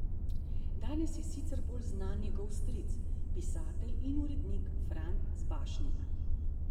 Danes je sicer bolj znan njegov stric, pisatelj in urednik Fran Zbašnik.